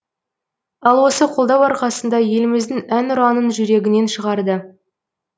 ал осы қолдау арқасында еліміздің әнұранын жүрегінен шығарды